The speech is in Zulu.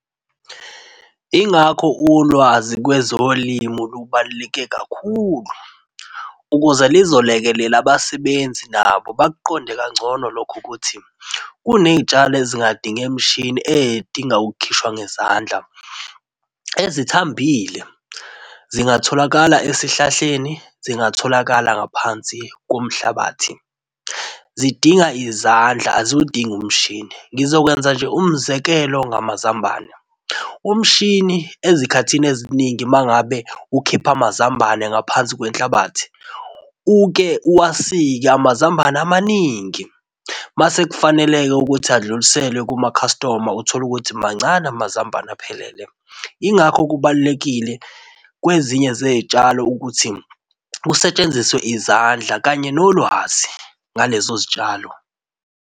Ingakho ulwazi kwezolimo lubaluleke kakhulu ukuze lizolekelela abasebenzi nabo bakuqonde kangcono lokho ukuthi kunezitshalo ezingadinge mishini, edinga ukukhishwa ngezandla. Ezithambile zingatholakala esihlahleni, zingatholakala ngaphansi komhlabathi. Zidinga izandla aziwudingi umshini. Ngizokwenza nje umzekelo ngamazambane, umshini ezikhathini eziningi mangabe ukhipha amazambane ngaphansi kwenhlabathi uke uwasike amazambane amaningi mase kufanele-ke ukuthi adluliselwe kuma-customer utholukuthi mancane amazambane aphelele. Yingakho kubalulekile kwezinye zezitshalo ukuthi kusetshenziswe izandla kanye nolwazi ngalezo zitshalo.